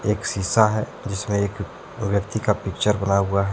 एक शीशा है जिसमे एक व्यक्ति का पिक्चर बना हुआ है।